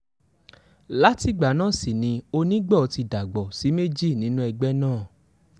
látìgbà náà sì ni onígbọ́ ti dàgbò sí méjì nínú ẹgbẹ́ náà